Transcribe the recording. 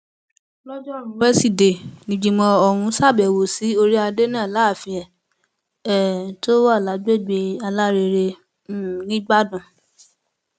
lójórùú wesidee nígbìmọ ọhún ṣàbẹwò sí orí adé náà láàfin ẹ um tó wà lágbègbè alárèrè um nìgbàdàn